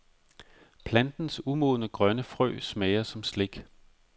Plantens umodne grønne frø smager som slik.